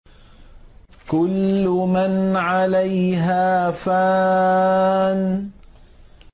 كُلُّ مَنْ عَلَيْهَا فَانٍ